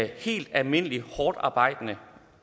helt almindelige hårdtarbejdende